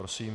Prosím.